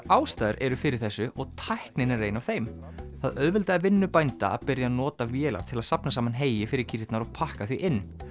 ástæður eru fyrir þessu og tæknin er ein af þeim það auðveldaði vinnu bænda að byrja að nota vélar til að safna saman heyi fyrir kýrnar og pakka því inn